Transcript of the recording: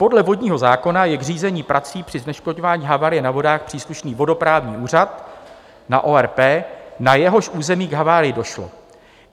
Podle vodního zákona je k řízení prací při zneškodňování havárie na vodách příslušný vodoprávní úřad na ORP, na jehož území k havárii došlo.